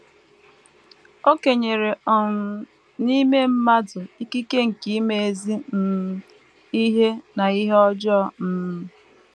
O kenyere um n’ime mmadụ ikike nke ịma ezi um ihe na ihe ọjọọ um.